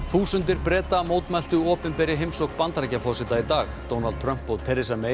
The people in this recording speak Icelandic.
þúsundir Breta mótmæltu opinberri heimsókn Bandaríkjaforseta í dag Donald Trump og